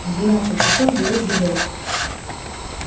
в двенадцать часов дают гудок